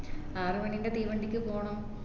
ആറു മണീന്റെ തീവണ്ടിക്ക് പോണം